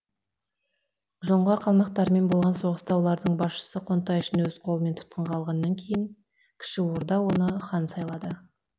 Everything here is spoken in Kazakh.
жоңғар қалмақтарымен болған соғыста олардың басшысы қонтайшыны өз қолымен тұтқынға алғаннан кейін кіші орда оны хан сайлады